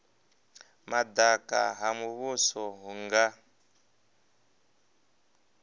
madaka ha muvhuso hu nga